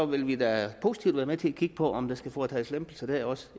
vil vi da positivt være med til at kigge på om der skal foretages lempelser der også